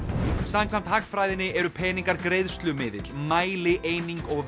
samkvæmt hagfræðinni eru peningar mælieining og